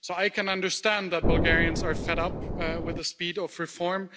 So I can understand that Bulgarians are fed up with the speed of reform.